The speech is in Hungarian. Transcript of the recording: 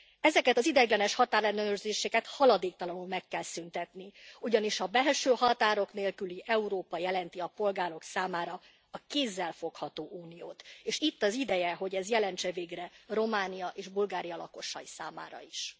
Ezeket az ideiglenes határellenőrzéseket haladéktalanul meg kell szüntetni, ugyanis a belső határok nélküli Európa jelenti a polgárok számára a kézzel fogható Uniót, és itt az ideje, hogy ez jelentse végre Románia és Bulgária lakosai számára is.